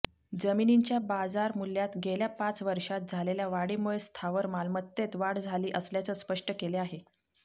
जमिनींच्या बाजारमूल्यात गेल्या पाच वर्षांत झालेल्या वाढीमुळे स्थावर मालमत्तेत वाढ झाली असल्याचं स्पष्ट केले आहे